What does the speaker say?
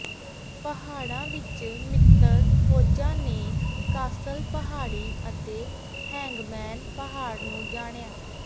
ਪਹਾੜਾਂ ਵਿਚ ਮਿੱਤਰ ਫ਼ੌਜਾਂ ਨੇ ਕਾਸਲ ਪਹਾੜੀ ਅਤੇ ਹੈਂਗਮੈਨ ਪਹਾੜ ਨੂੰ ਜਾਣਿਆ